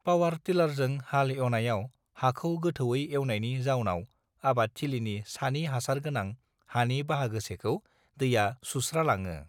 power टिलारजों हाल एवनायाव हाखौ गोथौयै एवनायनि जाउनाव आबाद थिलिनि सानि हासार गोनां हानि बाहागोसेखौ दैआ सुस्र लाङो